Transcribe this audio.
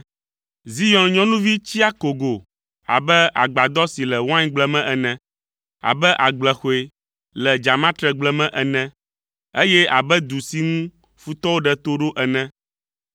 Zion nyɔnuvi tsi akogo abe agbadɔ si le waingble me ene, abe agblexɔe le dzamatregble me ene, eye abe du si ŋu futɔwo ɖe to ɖo ene.